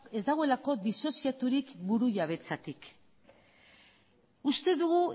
ez dagoelako disoziaturik burujabetzatik uste dugu